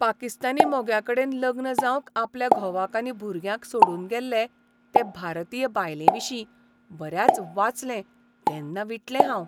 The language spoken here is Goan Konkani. पाकिस्तानी मोग्याकडेन लग्न जावंक आपल्या घोवाक आनी भुरग्यांक सोडून गेल्ले ते भारतीय बायलेविशीं बऱ्याच वाचलें तेन्ना विटलें हांव.